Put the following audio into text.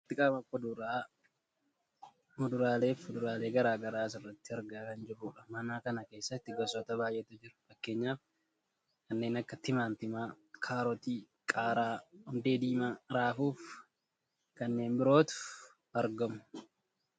bakka walitti qabama kuduraa, muduraallee fi fuduraalee gara garaa asirratti argaa kan jirrudha. mana kana keessatti gosoota baayyeetu jiru fakkeenyaaf kanneen akka timaatimaa, kaarotii, qaaraa, hundee diimaa ,raafuufi kanneen birootu argamu.